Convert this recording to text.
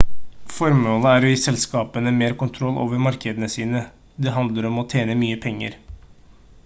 formålet er å gi selskapene mer kontroll over markedene sine det handler om å tjene mye penger